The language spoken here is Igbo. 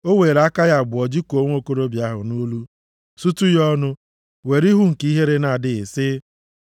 O weere aka ya abụọ jikụọ nwokorobịa ahụ nʼolu, sutu ya ọnụ, were ihu nke ihere na-adịghị, sị: